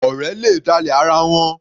Ọ̀rẹ́ le dálẹ̀ ara wọn.